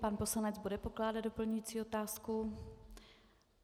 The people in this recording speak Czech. Pan poslanec bude pokládat doplňující otázku.